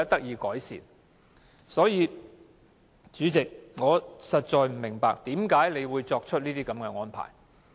因此，主席，我實在不明白你為何作出如此安排。